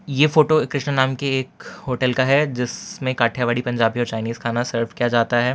ये फोटो कृष्ण नाम की एक होटल का है जिसमें काठियावाड़ी पंजाबी और चाइनीस खाना सर्वे किया जाता है।